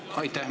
Aitäh!